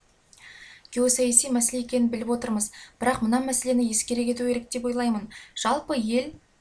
геосаяси мәселе екенін біліп отырмыз бірақ мына мәселені ескере кету керек деп ойлаймын жалпы ел